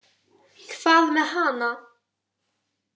Hvað með hana?